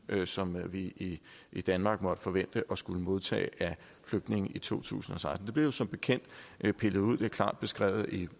som vi i danmark måtte forvente at skulle modtage af flygtninge i to tusind og seksten blev som bekendt pillet ud det er klart beskrevet i